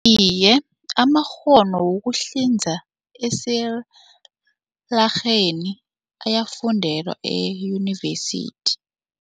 Iye, amakghono wokuhlinza esilarheni ayafundelwa eyunivesithi.